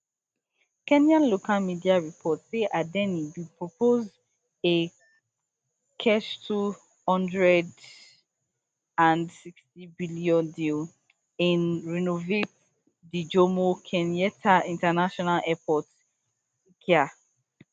kenya local media report say adani bin propose a kshtwo hundred and sixty billion deal to renovate di jomo kenyatta international airport jkia